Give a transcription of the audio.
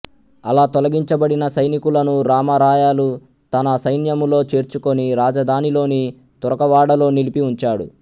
అలా తొలగించబడిన సైనికులను రామరాయలు తన సైన్యములో చేర్చుకొని రాజధానిలోని తురకవాడలో నిలిపి ఉంచాడు